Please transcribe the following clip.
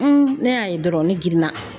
ne y'a ye dɔrɔn ne girinna